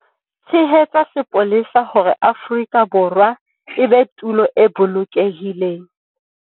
Tshehetsa sepolesa hore Afrika Borwa e be tulo e bolokehileng.